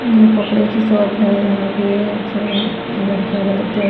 ये कपड़े की शॉप है यहां पे जी लड़कियों वाले ड्रेस--